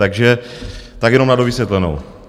Takže tak jenom na dovysvětlenou.